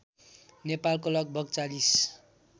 नेपालको लगभग ४०